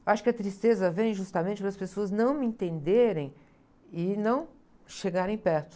Eu acho que a tristeza vem justamente das pessoas não me entenderem e não chegarem perto.